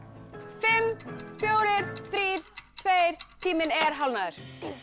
fimm fjórir þrír tveir tíminn er hálfnaður